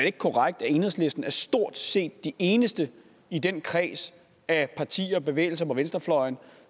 ikke korrekt at enhedslisten stort set de eneste i den kreds af partier og bevægelser på venstrefløjen